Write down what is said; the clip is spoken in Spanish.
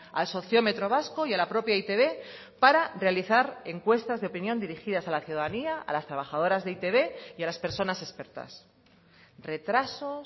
al sociómetro vasco y a la propia e i te be para realizar encuestas de opinión dirigidas a la ciudadanía a las trabajadoras de e i te be y a las personas expertas retrasos